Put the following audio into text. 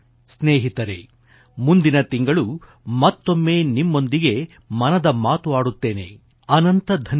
ಸ್ನೇಹಿತರೆ ಮುಂದಿನ ತಿಂಗಳು ಮತ್ತೊಮ್ಮೆ ನಿಮ್ಮೊಂದಿಗೆ ಮನದ ಮಾತು ಆಡುತ್ತೇನೆ ಅನೇಕಾನೇಕ ಧನ್ಯವಾದ